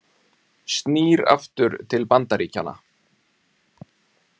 Snýr aftur til Bandaríkjanna